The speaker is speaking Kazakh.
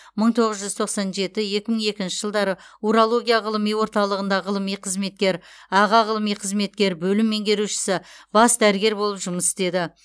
мың тоғыз жүз тоқсан жеті екі мың екінші жылдары урология ғылыми орталығында ғылыми қызметкер аға ғылыми қызметкер бөлім меңгерушісі бас дәрігер болып жұмыс істеді